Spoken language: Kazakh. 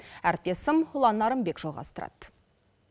әріптесім ұлан нарынбек жалғастырады